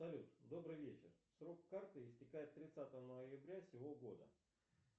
салют добрый вечер срок карты истекает тридцатого ноября сего года